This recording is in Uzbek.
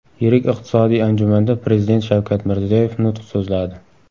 Yirik iqtisodiy anjumanda Prezident Shavkat Mirziyoyev nutq so‘zladi.